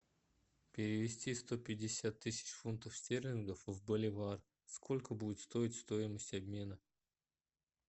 перевести сто пятьдесят тысяч фунтов стерлингов в боливар сколько будет стоить стоимость обмена